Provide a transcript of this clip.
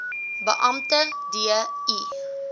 beampte d i